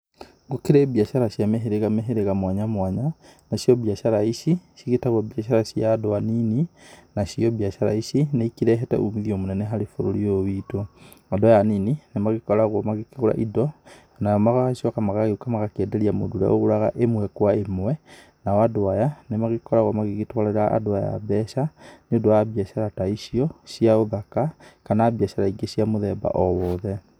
Gũkĩrĩ mbiacara cia mĩhĩrĩga mĩhĩrĩga mwanya mwanya, nacio mbiacara ici, cigitagũo mbiacara cia andũ anini, nacio mbiacara ici, nĩikĩrehete umithio mũnene harĩ bũrũri ũyũ witũ, andũ aya anini, nĩmagĩkoragũo magĩkĩgũra indo, nao magacoka magagĩũka magakienderia mũndũ ũrĩa ũgũraga imwe kwa imwe, nao andũ aya, nĩmagĩkoragũo magĩgĩtwarĩra andũ aya mbeca, nĩũndũ wa mbiacara ta icio, cia ũthaka, kana mbiacara ingĩ cia mũthemba owothe.